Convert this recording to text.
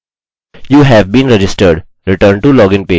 you have been registered return to login page